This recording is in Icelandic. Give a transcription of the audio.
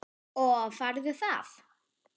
Og færðu það?